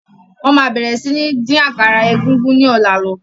Wọn má bẹ̀rẹ̀ si ni dín àkàrà egúngún ni ọ̀la lọ